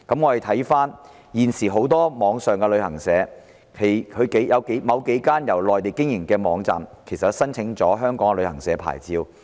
環顧現時很多網上旅行社，當中某幾間由內地經營，確實申請了香港的旅行社牌照。